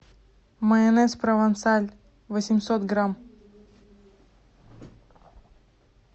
майонез провансаль восемьсот грамм